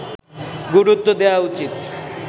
গুরুত্ব দেয়া উচিত